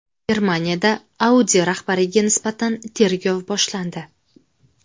Germaniyada Audi rahbariga nisbatan tergov boshlandi.